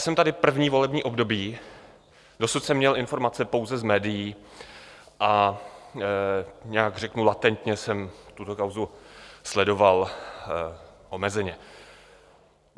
Jsem tady první volební období, dosud jsem měl informace pouze z médií a nějak - řeknu latentně - jsem tuto kauzu sledoval omezeně.